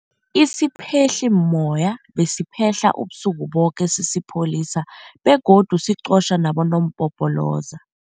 Isiphehlimmoya besiphehla ubusuku boke sisipholisa begodu siqotjha nabonompopoloza.